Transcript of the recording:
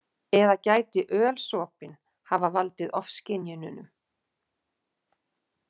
Eða gæti ölsopinn hafa valdið ofskynjunum?